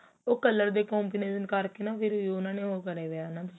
ਉਹ colour ਦੇ combination ਕਰਕੇ ਫ਼ਿਰ ਉਹਨਾ ਕਰੇ ਪਏ ਏ